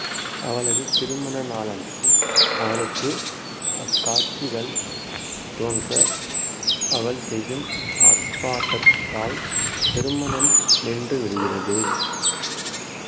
அவளது திருமண நாளன்றும் அவளுக்கு அக்காட்சிகள் தோன்ற அவள் செய்யும் ஆர்ப்பாட்டத்தால் திருமணம் நின்று விடுகிறது